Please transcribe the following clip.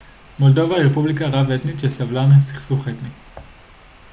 מולדובה היא רפובליקה רב-אתנית שסבלה מסכסוך אתני